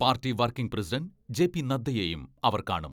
Party working president JP നദ്ദയെയും അവർ കാണും.